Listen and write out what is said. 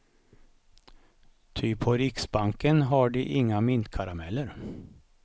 Ty på riksbanken har de inga mintkarameller.